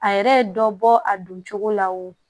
A yɛrɛ ye dɔ bɔ a don cogo la wo